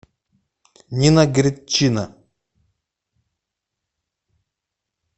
нина гридчина